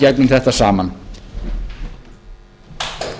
virðulegi forseti góðir landsmenn það